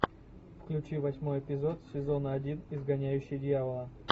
включи восьмой эпизод сезона один изгоняющий дьявола